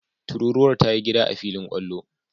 Tururuwar ta yi gida a filin kwallo.